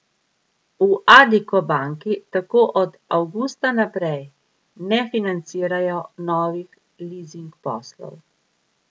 V Addiko banki tako od avgusta naprej ne financirajo novih lizing poslov.